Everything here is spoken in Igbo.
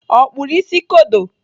Ọ kpụrụ isi kodo?